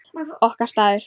Okkar staður.